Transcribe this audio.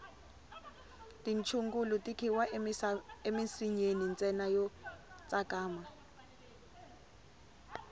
tichungulu ti khiwa emisinyeni ntsena yo tsakama